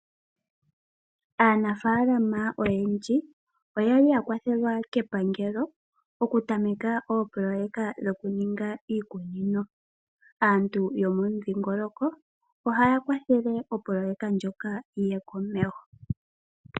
Aanamapya oyendji oyali ya kwathelwa kepangelo opo ya tameke ooployeka dhoku ninga iikunino. Aantu yomo mudhingoloko ohaya kwathele opoloyeka ndjoka yiye komeho.